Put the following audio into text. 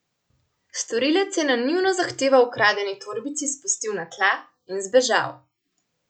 Storilec je na njuno zahtevo ukradeni torbici spustil na tla in zbežal.